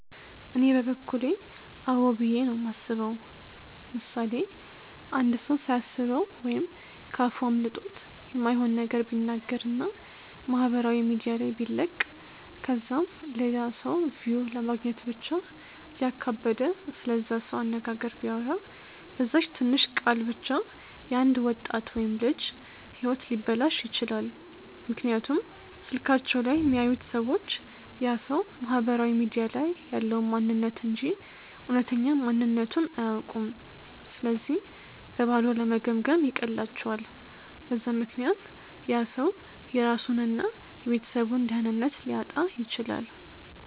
እኔ በበኩሌ አዎ ብዬ ነው የማስበው። ምሳሌ፦ አንድ ሰው ሳያስበው ወይም ከ አፉ አምልጦት የማይሆን ነገር ቢናገር እና ማህበራዊ ሚዲያ ላይ ቢለቅ ከዛም ለላ ሰው ቪው ለማግኘት ብቻ እያካበደ ስለዛ ሰው አነጋገር ቢያወራ፤ በዛች ትንሽ ቃል ብቻ የ አንድ ወጣት ወይም ልጅ ህይወት ሊበላሽ ይችላል፤ ምክንያቱም ስልካቸው ላይ የሚያዩት ሰዎች ያ ሰው ማህበራዊ ሚዲያ ላይ ያለውን ማንንነት እንጂ እውነተኛ ማንነትቱን አያውኩም ስለዚህ በባዶ ለመገምገም ይቀላቸዋል፤ በዛ ምክንያት ያ ሰው የራሱን እና የቤተሰቡን ደህንነት ሊያጣ ይችላል።